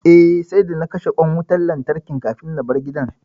Eh, sai da na kashe ƙwan wutan lantarkin kafin na bar gida